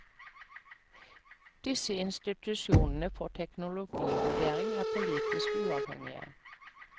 Disse institusjonene for teknologivurdering er politisk uavhengige.